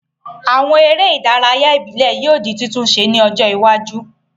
Àwon eré ìdárayá ìbílẹ́ yio di titunse ní ọjọ́ iwájú